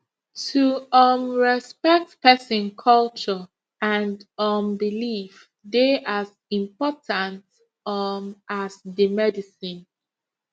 to um respect person culture and um belief dey as important um as the medicine